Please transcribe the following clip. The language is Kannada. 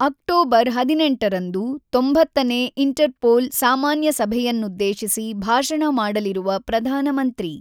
ಅಕ್ಟೋಬರ್ 18ರಂದು 90ನೇ ಇಂಟರ್ಪೋಲ್ ಸಾಮಾನ್ಯ ಸಭೆಯನ್ನುದ್ದೇಶಿಸಿ ಭಾಷಣ ಮಾಡಲಿರುವ ಪ್ರಧಾನಮಂತ್ರಿ